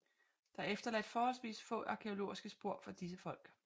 Der er efterladt forholdsvis få arkæologiske spor fra disse folk